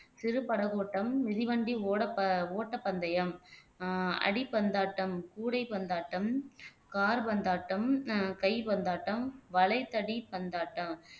சிறு படகோட்டம் மிதிவண்டி ஓடப ஓட்டப்பந்தயம் ஆஹ் அடிபந்தாட்டம் கூடை பந்தாட்டம் கால் பந்தாட்டம் ஆஹ் கை பந்தாட்டம் வளைத்தடி பந்தாட்டம்